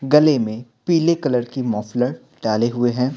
गले में पीले कलर की मफलर डाले हुए है।